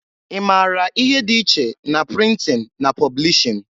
I mara ihe dị iche na printin na poblishin?